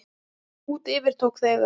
Út yfir tók þegar